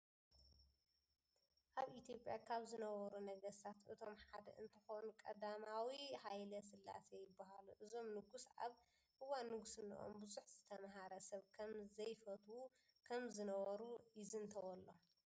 ኣብ ኢትዮጵያ ካብ ዝነበሩ ነገስታት እቶም ሓደ እንትኸኑ ቀዳማዊ ሃይለ ስላሴ ይበሃሉ። እዞም ንጉስ ኣብ እዋን ንግስንኦም ብዙሕ ዝተምሃረ ሰብ ከም ዘይፈትው ከም ዝነበሩ ይዝንተወሎም።